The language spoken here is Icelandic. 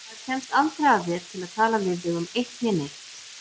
Maður kemst aldrei að þér til að tala við þig um eitt né neitt.